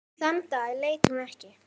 Þann dag leit hún ekki.